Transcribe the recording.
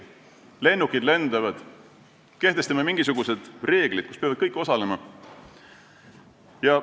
Kui lennukid lendavad, siis me kehtestame mingisugused reeglid, mida peavad kõik täitma.